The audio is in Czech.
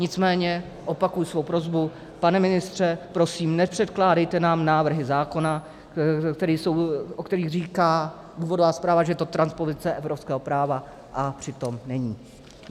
Nicméně opakuji svou prosbu, pane ministře, prosím, nepředkládejte nám návrhy zákona, o kterých říká důvodová zpráva, že je to transpozice evropského práva, a přitom není.